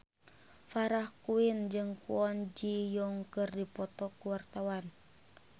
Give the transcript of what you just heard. Farah Quinn jeung Kwon Ji Yong keur dipoto ku wartawan